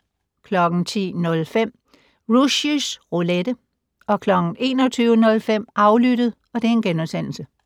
10:05: Rushys Roulette 21:05: Aflyttet *